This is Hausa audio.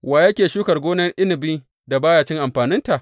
Wa yake shukar gonar inabi, da ba ya cin amfaninta?